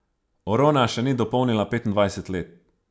Rona še ni dopolnila petindvajset let.